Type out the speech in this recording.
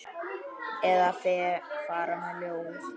Eða fara með ljóð.